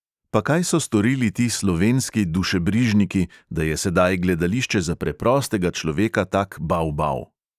Pa kaj so storili ti slovenski dušebrižniki, da je sedaj gledališče za preprostega človeka tak bav bav?